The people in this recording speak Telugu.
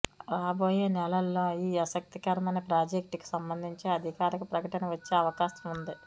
రాబోయే నెలల్లో ఈ ఆసక్తికరమైన ప్రాజెక్ట్ కు సంబంధించి అధికారిక ప్రకటన వచ్చే అవకాశం ఉంది